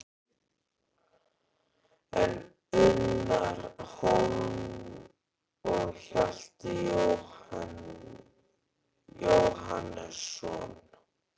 En Unnar Hólm og Hjalti Jóhannesson?